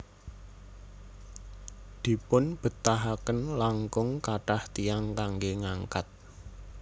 Dipunbetahaken langkung kathah tiyang kanggé ngangkat